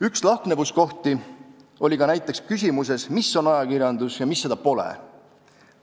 Üks lahknevuskoht ilmnes küsimuses, mis on ajakirjandus ja mis seda pole.